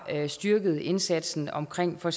styrket indsatsen omkring for